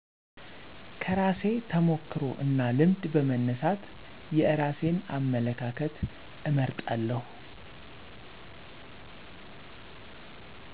ከራሴ ተሞክሮ እና ልምድ በመነሳት የራሴን አመለካከት እመርጣለሁ